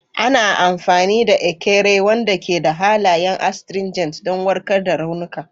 Ana amfani da Ekere, wanda ke da halayen astringent, don warkar da raunuka.